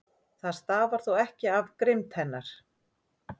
Það stafar þó ekki af grimmd hennar.